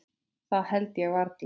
Það held ég varla.